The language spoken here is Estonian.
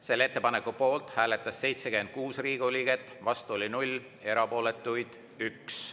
Selle ettepaneku poolt hääletas 76 Riigikogu liiget, vastu 0, erapooletuid oli 1.